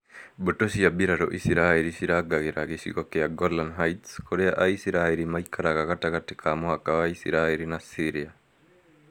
Mbũtũ cia mbirarũ Isiraĩri cirangagĩra gĩcigo gĩa Golan Heights, kũrĩa aisiraĩri maikaraga gatagatĩ ka mũhaka wa isiraĩri na Syria